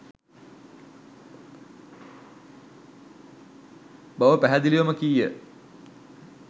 බව පැහැදිලිවම කීය.